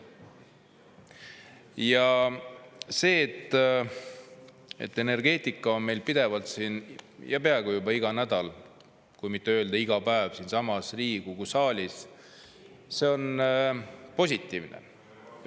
Ja see, et energeetika on meil pidevalt ja peaaegu iga nädal, kui mitte öelda iga päev siinsamas Riigikogu saalis, see on positiivne.